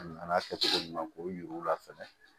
An n'a kɛ cogo ɲuman k'o yir'u la fɛnɛ